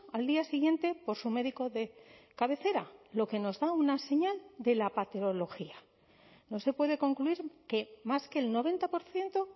al día siguiente por su médico de cabecera lo que nos da una señal de la patología no se puede concluir que más que el noventa por ciento